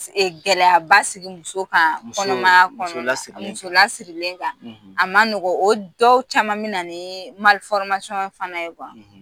Gɛlɛyaba sigi muso kan kɔnɔmaya kɔnɔnala muso lasirlen kan a ma nɔgɔ o dɔw caman min na nii mali fɔrimasiɲon fana ye kuwa